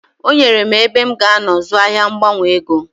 O nyere m ebe m g'anọ zụọ ahia mgbanwe ego.